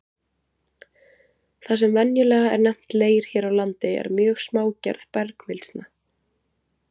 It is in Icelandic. Það sem venjulega er nefnt leir hér á landi er mjög smágerð bergmylsna.